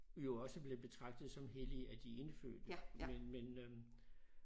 Jo også blev betraget som hellig af de indfødte men men øh